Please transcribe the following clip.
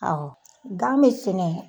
Awɔ gan be sɛnɛ